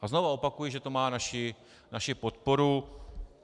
A znovu opakuji, že to má naši podporu.